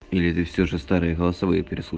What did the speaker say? или ты все же старые голосовые перес